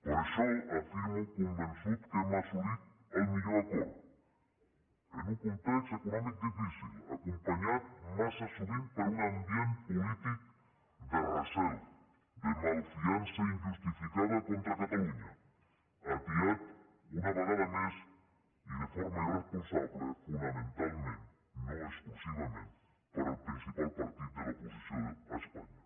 per això afirmo convençut que hem assolit el millor acord en un context econòmic difícil acompanyat massa sovint per un ambient polític de recel de malfiança injustificada contra catalunya atiat una vegada més i de forma irresponsable fonamentalment no exclusivament per el principal partit de l’oposició a espanya